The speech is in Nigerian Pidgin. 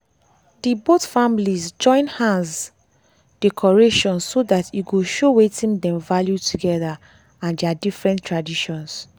dey both families join hands decoration so that e go show wetin dem value together and their different traditions.